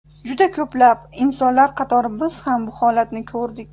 Juda ko‘plab, insonlar qatori biz ham bu holatni ko‘rdik.